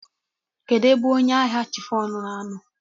Kedụ ebe ọnye ahịa chifọn na anọ?